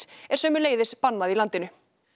er sömuleiðis bannað í landinu